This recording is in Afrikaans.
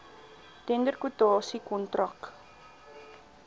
tender kwotasie kontrak